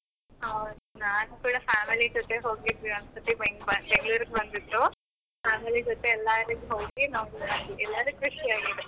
ಹೌದು, ನಾನು ಕೂಡ family ಜೊತೆ ಹೋಗಿದ್ದೆ ಒಂದು ಸರ್ತಿ ಬೆಂಗ್ಳುರ್ಗೆ ಬಂದಿದ್ರು, family ಜೊತೆ ಎಲ್ಲ ಹೋಗಿ ನೋಡಿ ಎಲ್ಲರಿಗೆ ಖುಷಿ ಆಗಿದೆ.